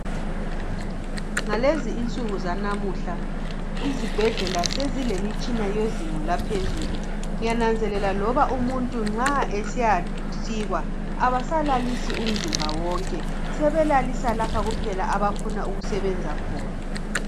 Ngalezi insuku zanamuhla, izibhedlela sezilemitshina yezinga laphezulu. Ngiyananzelela loba umuntu nxa esiyasikwa, abasalalisi umzimba onke, sebelalisa lapho kuphela abafuna ukusebenza khona.